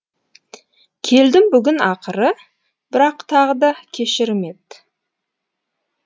келдім бүгін ақыры бірақ тағы да кешірім ет